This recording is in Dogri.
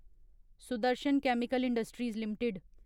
Sudarshan chemical industries limited